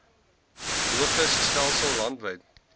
logis stelsel landwyd